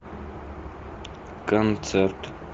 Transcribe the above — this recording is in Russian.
концерт